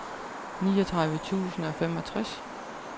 niogtredive tusind og femogtres